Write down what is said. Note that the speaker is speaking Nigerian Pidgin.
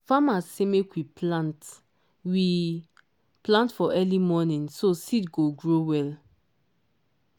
farmers say make we plant we plant for early morning so seed go grow well.